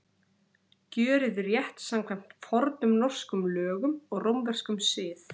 Gjörið rétt samkvæmt fornum norskum lögum og rómverskum sið.